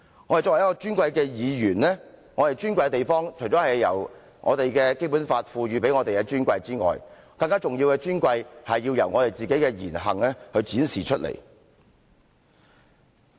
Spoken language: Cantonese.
我們作為一位尊貴的議員，我們尊貴的地方，除了由《基本法》賦予給我們的尊貴之外，更重要的是，尊貴要由我們自己的言行展示出來。